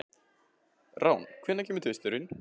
Rán, hvenær kemur tvisturinn?